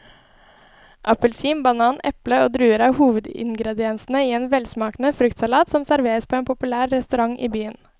Appelsin, banan, eple og druer er hovedingredienser i en velsmakende fruktsalat som serveres på en populær restaurant i byen.